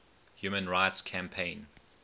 human rights campaign